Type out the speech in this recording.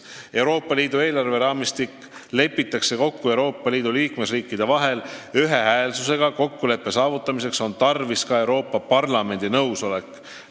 Euroopa Liidu eelarveraamistik lepitakse Euroopa Liidu liikmesriikide vahel kokku ühehäälselt, kokkuleppe saavutamiseks on tarvis ka Euroopa Parlamendi nõusolekut.